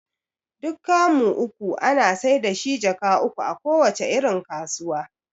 Duk kamu uku ana saida shi jaka uku a kowace irin kasuwa